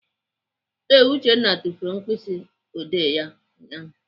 Ee, Uchenna tufuru mkpịsịodee ya ụnyaahụ.